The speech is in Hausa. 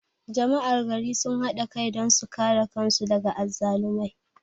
Jama'ar gari sun hada kai don su kare kan su daga azzalumai